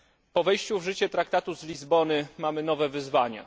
Po wejściu w życie Traktatu z Lizbony mamy nowe wyzwania.